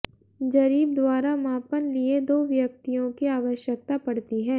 ज़रीब द्वारा मापन लिए दो व्यक्तियों की आवश्यकता पड़ती है